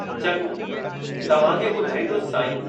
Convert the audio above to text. चङो, तव्हांखे ॿुधाईंदुसि साईं।